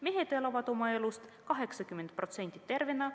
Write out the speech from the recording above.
Mehed elavad oma elust 80% tervena.